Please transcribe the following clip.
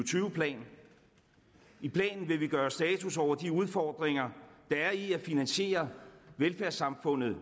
tyve plan i planen vil vi gøre status over de udfordringer der er i at finansiere velfærdssamfundet